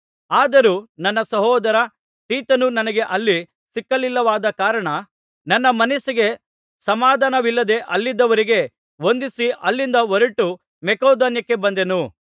ಆದರೂ ನನ್ನ ಸಹೋದರ ತೀತನು ನನಗೆ ಅಲ್ಲಿ ಸಿಕ್ಕಲಿಲ್ಲವಾದ ಕಾರಣ ನನ್ನ ಮನಸ್ಸಿಗೆ ಸಮಾಧಾನವಿಲ್ಲದೆ ಅಲ್ಲಿದ್ದವರಿಗೆ ವಂದಿಸಿ ಅಲ್ಲಿಂದ ಹೊರಟು ಮಕೆದೋನ್ಯಕ್ಕೆ ಬಂದೆನು